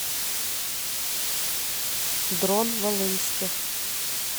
дрон волынских